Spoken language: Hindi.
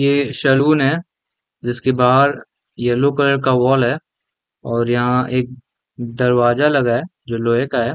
ये सलून है जिसके बाहर येलो कलर का वॉल है और यहाँ एक दरवाजा लगा है जो लोहे का है।